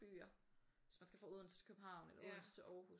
Byer hvis man skal fra Odense til København eller Odense til Aarhus